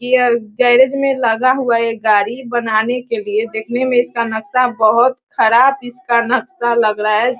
Garage में लगा हुआ है एक गाड़ी बनाने के लिए देखने में इसका नक्सा बहोत ख़राब इसका नक्सा लग रहा है।